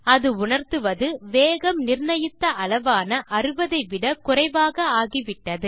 இது உணர்த்துவது வேகம் நிர்ணயித்த அளவான 60 ஐ விட குறைவாக ஆகிவிட்டது